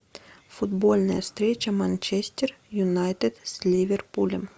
футбольная встреча манчестер юнайтед с ливерпулем